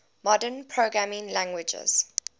modern programming languages